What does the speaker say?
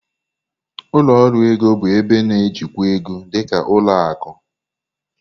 Ụlọ ọrụ ego bụ ebe na-ejikwa ego, dị ka ụlọ akụ.